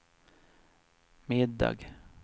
middag